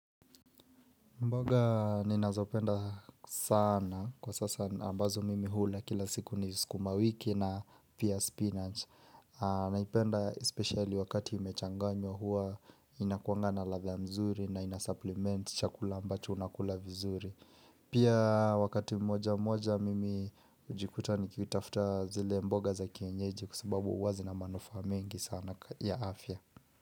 Mboga ninazopenda sana kwa sasa ambazo mimi hula kila siku ni skuma wiki na pia spinach. Naipenda especially wakati imechanganywa huwa inakuanga na ladha nzuri na inasupplement chakula ambacho unakula vizuri. Pia wakati mmoja mmoja mimi hujikuta nikitafuta zile mboga za kienyeji kwa sababu huwa zina manufaa mengi sana ya afya.